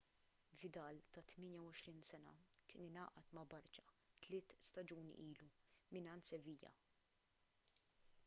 vidal ta' 28 sena kien ingħaqad ma' barça tliet staġuni ilu mingħand sevilla